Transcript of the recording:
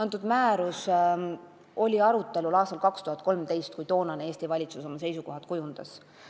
See määrus oli arutelul aastal 2013, kui Eesti valitsus oma seisukohad kujundas.